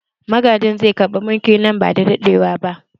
Magajin zai karɓi mulki nan ba da daɗewa ba